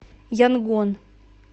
янгон